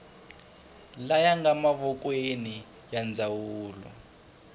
laya nga mavokweni ya ndzawulo